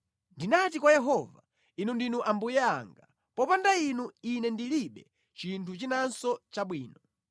Ndinati kwa Yehova, “Inu ndinu Ambuye anga; popanda Inu, ine ndilibe chinthu chinanso chabwino.”